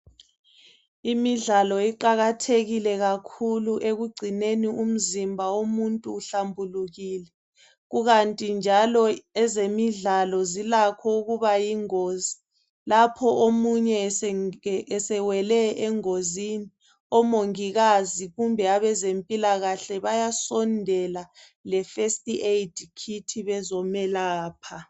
Imidlalo iqakathekile kakhulu ekugcineni umzimba womuntu uhlambulukile. Kukanti njalo ezemidlalo zilakho ukuba yingozi lapho omunye esenge esewele engozini omongikazi kumbe abezempilakahle bayasondela leFirst aid kit bezomelapha.